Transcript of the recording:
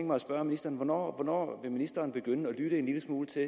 mig at spørge ministeren hvornår ministeren vil begynde at lytte en lille smule til